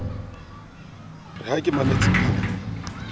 re ha ke mametse pina